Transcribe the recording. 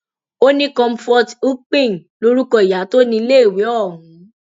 ó ní comfort ukping lorúkọ ìyá tó níléèwé ọhún